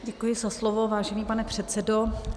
Děkuji za slovo, vážený pane předsedo.